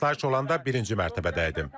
Partlayış olanda birinci mərtəbədə idim.